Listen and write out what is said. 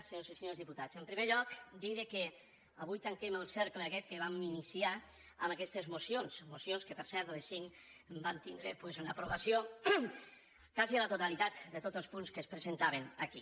senyores i senyors diputats en primer lloc dir que avui tanquem el cercle aquest que vam iniciar amb aquestes mocions mocions que per cert les cinc van tindre l’aprovació de quasi la totalitat de tots els punts que es presentaven aquí